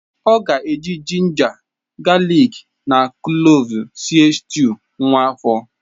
Ọ ga-eji ginger, galik na kloves sie stuu nwa afọ.